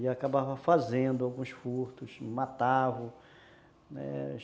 E acabava fazendo alguns furtos, matava, né?